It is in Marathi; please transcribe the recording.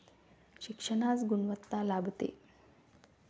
शिक्षणास गुणवत्ता लाभते.